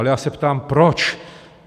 Ale já se ptám: Proč?